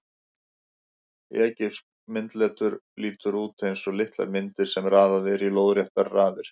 Egypskt myndletur lítur út eins og litlar myndir sem raðað er í lóðréttar raðir.